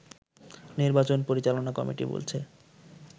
নির্বাচন পরিচালনা কমিটি বলছে